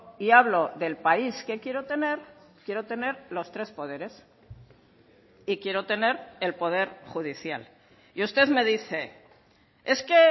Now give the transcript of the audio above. y hablo del país que quiero tener quiero tener los tres poderes y quiero tener el poder judicial y usted me dice es que